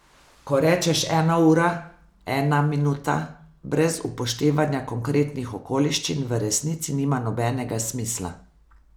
Ko rečeš ena ura, ena minuta, brez upoštevanja konkretnih okoliščin v resnici nima nobenega smisla.